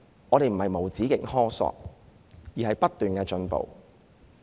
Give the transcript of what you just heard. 這並非無止境的苛索，而是追求不斷的進步。